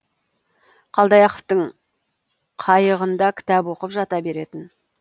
қалдаяқовтың қайығында кітап оқып жата беретін